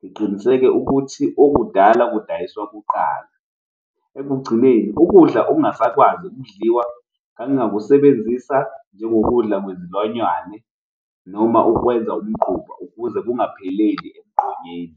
ngiqiniseke ukuthi okudala kudayiswa kuqala. Ekugcineni ukudla ongasakwazi ukudliwa ngangingakusebenzisa njengokudla kwezilwanyane noma ukwenza umquba ukuze kungapheleli emgqonyeni.